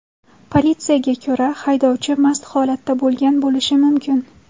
Politsiyaga ko‘ra, haydovchi mast holatda bo‘lgan bo‘lishi mumkin.